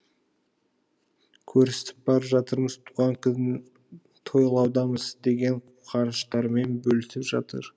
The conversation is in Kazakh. көрісіп барып жатырмыз туған күн тойлаудамыз деген қуаныштарымен бөлісіп жатыр